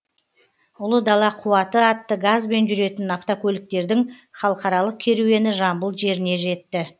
ұлы дала қуаты атты газбен жүретін автокөліктердің халықаралық керуені жамбыл жеріне жетті